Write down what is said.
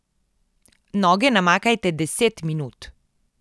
Noge namakajte deset minut.